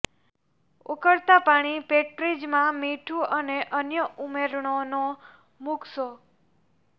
ઉકળતા પાણી પોટ્રીજમાં મીઠું અને અન્ય ઉમેરણો ન મૂકશો